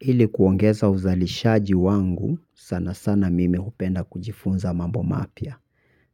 Ili kuongeza uzalishaji wangu, sana sana mimi hupenda kujifunza mambo mapya.